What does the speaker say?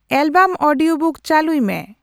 album audiobook ᱪᱟᱹᱞᱩᱭ ᱢᱮ